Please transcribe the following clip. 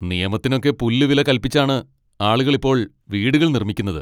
നിയമത്തിനൊക്കെ പുല്ലുവില കൽപ്പിച്ചാണ് ആളുകൾ ഇപ്പോൾ വീടുകൾ നിർമ്മിക്കുന്നത്.